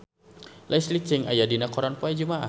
Leslie Cheung aya dina koran poe Jumaah